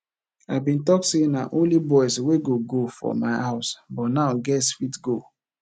i bin talk say na only boys wey go go for my house but now girls fit go